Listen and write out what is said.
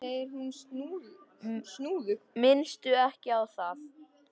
Minnstu ekki á það.